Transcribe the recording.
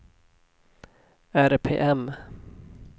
RPM